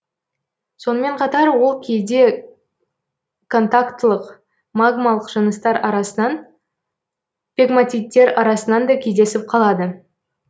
сонымен қатар ол кейде контақтылық магмалық жыныстар арасынан пегматиттер арасынан да кездесіп қалады